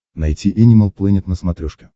найти энимал плэнет на смотрешке